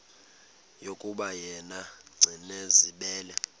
yokuba yena gcinizibele